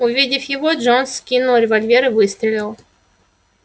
увидев его джонс вскинул револьвер и выстрелил